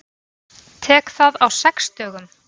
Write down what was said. Tek það á sex dögum.